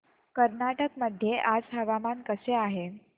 कर्नाटक मध्ये आज हवामान कसे आहे